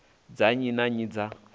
dza nnyi na nnyi dza